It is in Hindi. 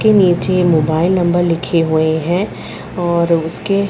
के नीचे मोबाइल नंबर लिखे हुए हैं और उसके --